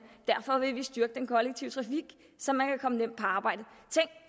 derfor vil vi styrke den kollektive trafik så man kan komme nemt på arbejde